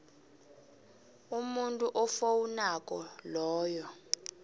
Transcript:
umuntu ofowunako loyo